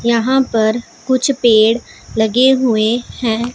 यहां पर कुछ पेड़ लगे हुए हैं।